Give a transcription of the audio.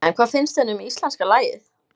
En hvað finnst henni um íslenska lagið?